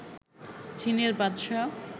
জিনের বাদশা